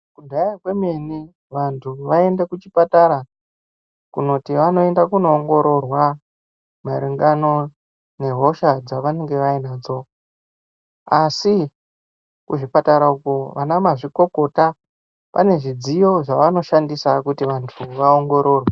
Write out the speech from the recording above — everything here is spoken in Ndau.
Kudhaya kwemene vantu vaienda kuchipatara, kunoti vanoenda kunoongororwa maringano nehosha dzavanenge vainadzo, asi kuzvipatara uko vanamazvikokota pane zvidziyo zvavanoshandisa kuti vantu vaongororwe.